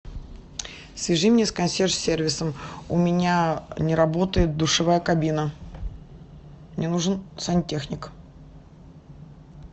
свяжи меня с консьерж сервисом у меня не работает душевая кабина мне нужен сантехник